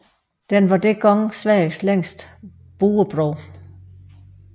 Den var dengang Sveriges længste buebro